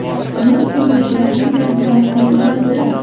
Yosh ko‘rinishga yordam beradigan kiyim-kechaklar.